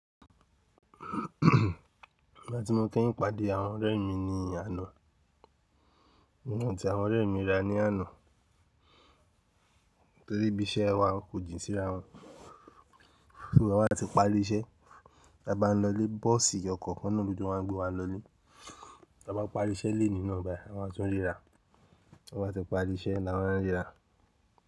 Nígbà tí mo kẹ́yìn pàdé àwọn ọ̀rẹ́ mi ní àná, èmi àti àwọn ọ̀rẹ́ mi ríra ní àná, torí ibi iṣẹ́ wa kò jìn síra wọn. Tí gbogbo wa bá ti parí iṣẹ́, ta bá ń lọ ilé, bọ́ọ̀sì ọkọ̀ kan náà ló jọ máa n gbé wa lọ ilé. Ta bá parí iṣẹ́ lénìí náà báyìí a máa tún ríra. Ta bá ti parí iṣẹ́ la máa ń ríra.